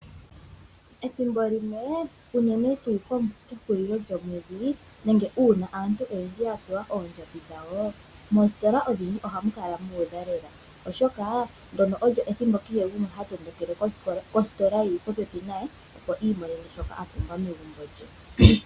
Ethimbo limwe uunene tuu kehulilo lyomwedhi nenge uuna aantu yapewa oondjambi dhawo, moostola odhindji oha mu kala muudha lela, oshoka ndyono olyo ethimbo kehe gumwe ha tondokele kostola yili popepi naye opo iimonene shoka apumbwa megumbo lye.